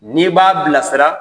N'i b'a bilasira